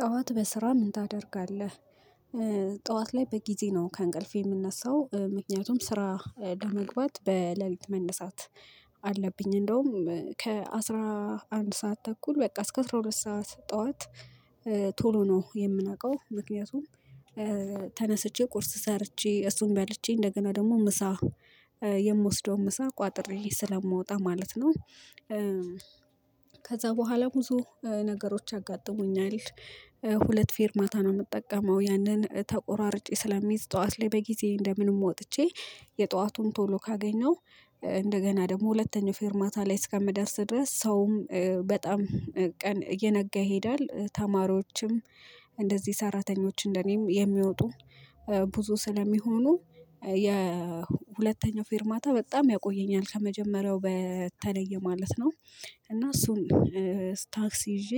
ጠዋት በስራ ምን ታደርጋለህ? ጠዋት ላይ በጊዜ ነው ከእንቅልፌ የምነሳው ምክንያቱም ስራ ለመግባት በሌሊት መነሳት። አለብኝ እንደውም ከአሥራ አንድ ሰዓት ተኩል በቃ እስከ አራት ሁለት ሰዓት ጠዋት። ቶሎ ነው የምነቃው ምክንያቱም። ተነስቼ ቁርስ ሰርቼ እሱን በልቼ እንደገና ደግሞ ምሳ የምወስደውን ምሳ ቋጥሬ ስለምወጣ ማለት ነው። ከዛ በኋላ ብዙ ነገሮች ያጋጥሙኛል። ሁለት ፌር ማታ ነው የምጠቀመው ያንን ተቆራርጬ ስለሚይዝ ጠዋት ላይ በጊዜ እንደምንም ወጥቼ የጠዋቱን ቶሎ ካገኘው። እንደገና ደግሞ ሁለተኛው ፊርማታ ላይ እስከምደርስ ድረስ ሰውም በጣም ቀን እየነጋ ይሄዳል። ተማሪዎችም እንደዚህ ሰራተኞች እንደኔም የሚወጡ። ብዙ ስለሚሆኑ የሁለተኛው ፌርማታ በጣም ያቆየኛል ከመጀመሪያው በተለየ ማለት ነው። እና እሱን ታክሲ ይዤ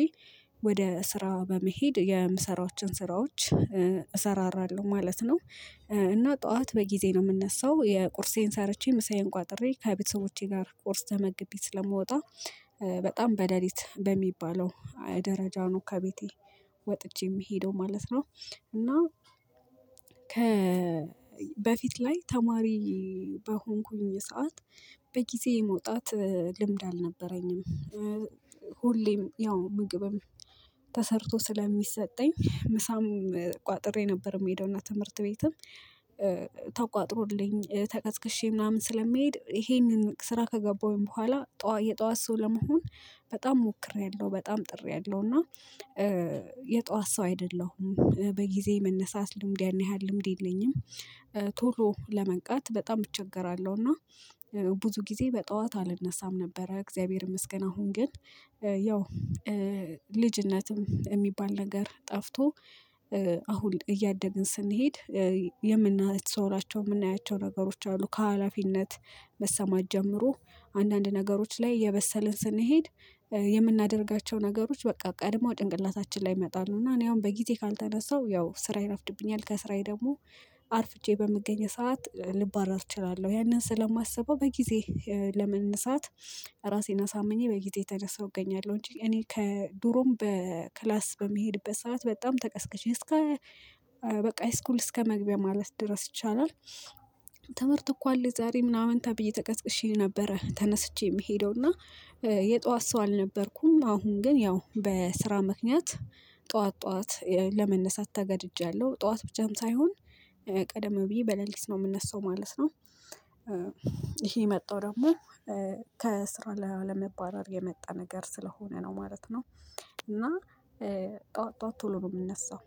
ወደ ስራ በመሄድ የምሰራዎችን ስራዎች እሰራራለሁ ማለት ነው። እና ጠዋት በጊዜ ነው የምነሳው የቁርሴን ሰርቼ ምሳዬን ቋጥሬ ከቤተሰቦቼ ጋር ቁርስ ተመግቢ ስለምወጣ። በጣም በደሊት በሚባለው ደረጃ ነው ከቤቴ ወጥቼ የምሄደው ማለት ነው። እና ከ በፊት ላይ ተማሪ በሆንኩኝ የሰዓት በጊዜ የመውጣት ልምድ አልነበረኝም። ሁሌም ያው ምግብም ተሰርቶ ስለሚሰጠኝ ምሳም ቋጥሬ ነበር የምሄደውና ትምህርት ቤትም ተቋጥሮልኝ ተቀስቅሼ ምናምን ስለሚሄድ ይሄንን ስራ ከገባሁኝ በኋላ የጧት ሰው ለመሆን በጣም ሞክሬያለሁ። በጣም ጥሪያለሁ እና የጧት ሰው አይደለሁም በጊዜ መነሳት ልምድ ያን ያህል ልምድ የለኝም። ቶሎ ለመንቃት በጣም እቸገራለሁ። እና ብዙ ጊዜ በጠዋት አልነሳም። ነበረ እግዚአብሔር መስገን አሁን ግን። ያው ልጅነትም የሚባል ነገር ጠፍቶ አሁን እያደግን ስንሄድ። የምናያቸው የምናያቸው ነገሮች አሉ ከሀላፊነት መሰማት ጀምሮ አንዳንድ ነገሮች ላይ የበሰልን ስንሄድ የምናደርጋቸው ነገሮች በቃ ቀድሞ ጭንቅላታችን ላይ ይመጣሉ እና እኔ አሁን በጊዜ ካልተነሳው ያው ስራ ይረፍድብኛል። ከስራዬ ደግሞ አርፍጄ በምገኘው ሰዓት ልባረር እችላለሁ። ያንን ስለማስበው በጊዜ ለመነሳት ራሴን አሳምኜ በጊዜ ተነሳው እገኛለሁ። እንጂ እኔ ከድሮም በክላስ በሚሄድበት ሰዓት በጣም ተቀስቀሽ እስከ በቃ አይስኩል እስከመግቢያ ማለት ድረስ ይቻላል። ትምህርት እኮ አለ የዛሬ ምናምን ታብዬ ተቀስቅሼ ነበረ ተነስቼ የምሄደው እና የጧት ሰው አልነበርኩም። አሁን ግን ያው በስራ ምክንያት ጠዋት ጠዋት ለመነሳት ተገድጃለሁ ጠዋት ብቻም ሳይሆን ቀደም ብዬ በሌሊት ነው የምነሳው ማለት ነው። ይሄ የመጣው ደግሞ ከስራ ላለመባረር የመጣ ነገር ስለሆነ ነው ማለት ነው። እና ጠዋት ጠዋት ቶሎ ነው ምነሳው